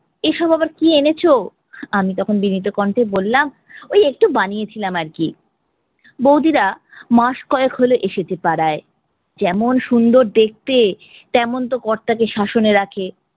এসব আবার কি এনেছো। আমি তখন বিনীত কণ্ঠে বললাম ওই একটু বানিয়েছিলাম আরকি। বৌদিরা মাস কয়েক হল এসেছে পাড়ায়, যেমন সুন্দর দেখতে তেমন তো কর্তাকে শ্বাসনে রাখে।